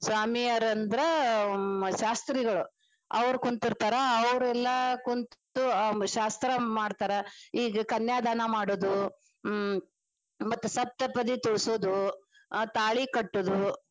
ಸ್ವಾಮಿಯಾರಂದ್ರ ಶಾಸ್ತ್ರೀಗಳು ಅವ್ರ ಕುಂತಿರ್ತಾರ ಅವ್ರೆಲ್ಲಾ ಕುಂತು ಶಾಸ್ತ್ರಾ ಮಾಡ್ತಾರ ಈಗ ಕನ್ಯಾದಾನ ಮಾಡುದು ಹ್ಮ್ ಮತ್ತೆ ಸಪ್ತಪದಿ ತುಳುಸುದು ತಾಳಿ ಕಟ್ಟುದು.